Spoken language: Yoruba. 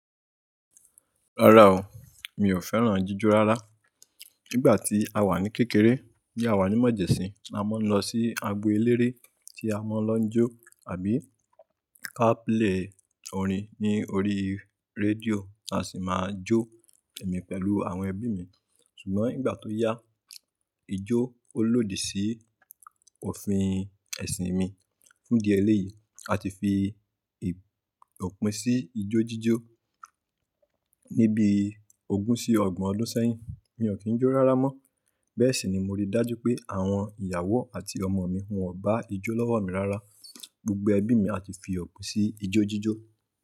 Rárá o, mi ò fẹ́ràn jíjó rárá. Nígbà tí a wà ní kékeré tí a wà ní Mọ̀jẹ̀sín, a máa ń lọ sí agbo eléré tí a máa ń lọ jó àbí ka play orin ní orí rédíò tí a sì máa jó pẹ̀mí pẹ̀lú àwọn ẹbí mi. Ṣùgbọ́n nígbà tó yá, ijó ó lòdì sí òfin ẹ̀sìn mi. Fún ìdí eléyìí, a ti fi ọ̀pín sí ijó jíjó. Ní bí ogún sí ọgbọ̀n ọdún sẹ́yìn, mi ò kín jó rárá mọ́. Bẹ́ẹ̀ sì ni mo rí dájú pé àwọn ìyàwó àti ọmọ mi ò bá ijó lọ́wọ́ mi rárá. Gbogbo ẹbí mi a ti fi ọ̀pín sí ijó jíjó.